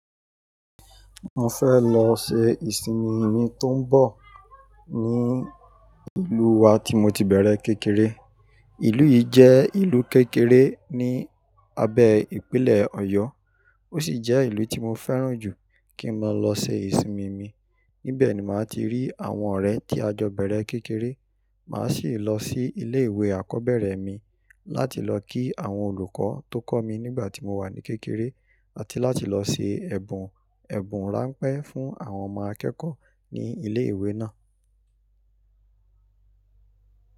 Mo fẹ́ lọ ṣe ìsinmi mi tó ń bọ̀ ní ìlú wa tí mo ti bẹ̀rẹ̀ kékeré. Ìlú yìí jẹ́ ìlú kékeré ni abẹ́ ìpínlẹ̀ Ọ̀yọ́, ó sì jẹ́ ìlú tí mo fẹ́ràn jù kí n máa lọ ṣe ìsinmi mi. Nibẹ̀ ni màá ti rí àwọn ọ̀rẹ́ tí a jọ bẹ̀rẹ̀ kékeré, màá sì lọ sí ilé ìwé àkọ́bẹ̀rẹ̀ mi láti lọ kí àwọn olùkọ́ tó kọ́ mi nígbà tí mo wà ní kékeré, àti láti lọ ṣe ẹ̀bùn ẹ̀bùn ráńpẹ́ fún àwọn ọmọ akẹ́kọ̀ọ́ ní ilé ìwé náà.